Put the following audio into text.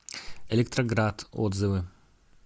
электроград отзывы